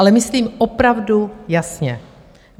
Ale myslím opravdu jasně.